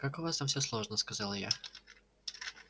как у вас там всё сложно сказала я